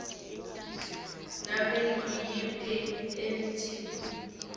ngabe nguyiphi imiculu